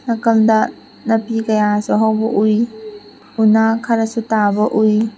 ꯅꯥꯀꯟꯗ ꯅꯥꯄꯤ ꯀꯌꯥꯁꯨ ꯍꯧꯕ ꯎꯏ ꯎꯅꯥ ꯈꯔꯁꯨ ꯇꯥꯕ ꯎꯏ꯫